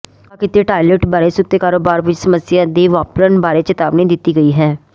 ਤਬਾਹ ਕੀਤੇ ਟਾਇਲਟ ਬਾਰੇ ਸੁੱਤੇ ਕਾਰੋਬਾਰ ਵਿੱਚ ਸਮੱਸਿਆਵਾਂ ਦੇ ਵਾਪਰਨ ਬਾਰੇ ਚੇਤਾਵਨੀ ਦਿੱਤੀ ਗਈ ਹੈ